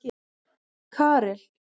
Karel